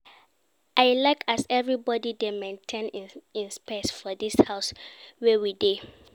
I like as everybodi dey maintain im space for dis house wey we dey.